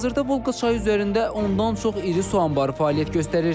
Hazırda Volqa çayı üzərində ondan çox iri su anbarı fəaliyyət göstərir.